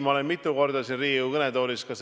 Ma olen mitu korda siin Riigikogu kõnetoolis ka